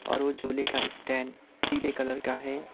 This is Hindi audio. और वो झूले का स्टैंड पीले कलर का है।